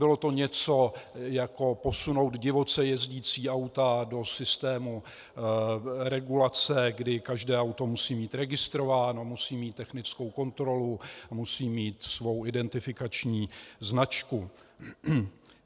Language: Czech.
Bylo to něco jako posunout divoce jezdící auta do systému regulace, kdy každé auto musí být registrováno, musí mít technickou kontrolu a musí mít svou identifikační značku.